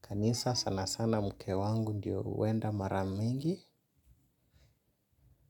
Kanisa sana sana mke wangu ndio huenda mara mingi.